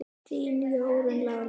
Þín Jórunn Lára.